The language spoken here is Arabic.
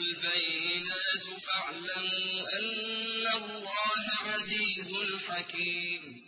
الْبَيِّنَاتُ فَاعْلَمُوا أَنَّ اللَّهَ عَزِيزٌ حَكِيمٌ